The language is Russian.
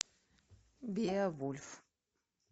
беовульф